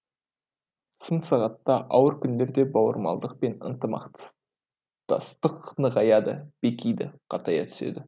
сын сағатта ауыр күндерде бауырмалдық пен ынтымақтастық нығаяды бекиді қатая түседі